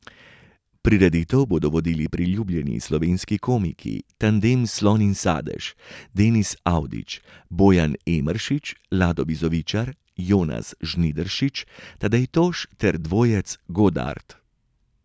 Prireditev bodo vodili priljubljeni slovenski komiki tandem Slon in Sadež, Denis Avdić, Bojan Emeršič, Lado Bizovičar, Jonas Žnidaršič, Tadej Toš ter dvojec Godart.